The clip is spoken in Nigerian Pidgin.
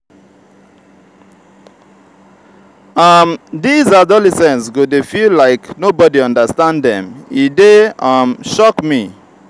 um dese adolescents go dey feel like nobody understand dem e dey um shock me.